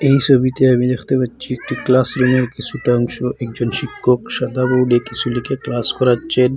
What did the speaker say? এই সবিতে আমি দেখতে পাচ্ছি একটি ক্লাসরুমের কিসুটা অংশ একজন শিক্ষক সাদা বোর্ডে কিসু লিখে ক্লাস করাচ্ছেন।